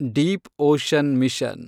deep ocean mission